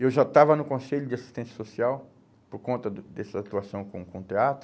Eu já estava no Conselho de Assistência Social por conta do dessa atuação com o com o teatro.